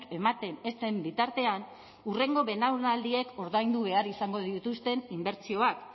ematen ez den bitartean hurrengo belaunaldiek ordaindu behar izango dituzten inbertsioak